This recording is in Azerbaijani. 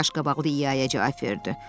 Qaşqabaq i-ya i-ya cavab verdi.